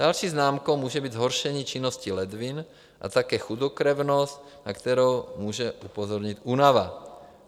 Další známkou může být zhoršení činnosti ledvin a také chudokrevnost, na kterou může upozornit únava.